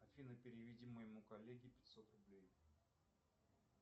афина переведи моему коллеге пятьсот рублей